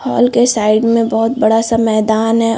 Hall के side में बहुत बड़ा सा मैदन है।